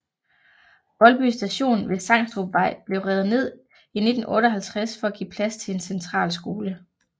Voldby Station ved Sangstrupvej blev revet ned i 1958 for at give plads til en centralskole